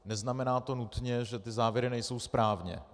Neznamená to nutně, že ty závěry nejsou správně.